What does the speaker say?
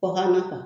Kɔkan na